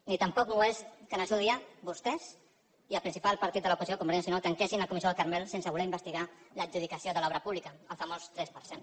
ni tampoc no ho és que en el seu dia vostès i el principal partit de l’oposició convergència i unió tanquessin la comissió del carmel sense voler investigar l’adjudicació de l’obra pública el famós tres per cent